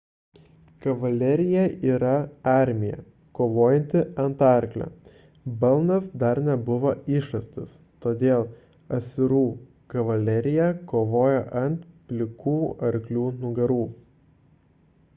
kavalerija yra armija kovojanti ant arklio balnas dar nebuvo išrastas todėl asirų kavalerija kovojo ant plikų arklių nugarų